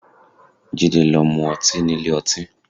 Jide lọ mu ọtí nílé ọtí